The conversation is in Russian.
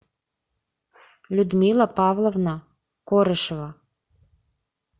людмила павловна корышева